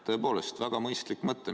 Tõepoolest väga mõistlik mõte.